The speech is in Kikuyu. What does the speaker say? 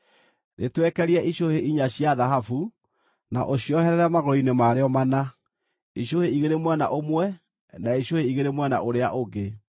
Rĩtwekerie icũhĩ inya cia thahabu, na ũcioherere magũrũ-inĩ marĩo mana, icũhĩ igĩrĩ mwena ũmwe na icũhĩ igĩrĩ mwena ũrĩa ũngĩ.